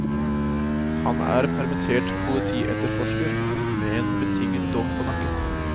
Han er permittert politietterforsker med en betinget dom på nakken.